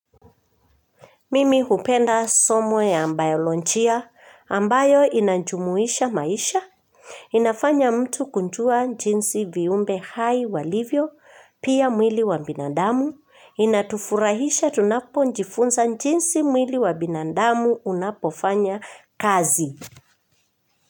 Mimi hupenda somo ya bayolojia ambayo inajumuisha maisha. Inafanya mtu kujua jinsi viumbe hai walivyo, pia mwili wa binandamu. Inatufurahisha tunapojifunza jinsi mwili wa binadamu unapofanya kazi.